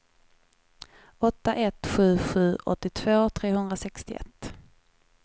åtta ett sju sju åttiotvå trehundrasextioett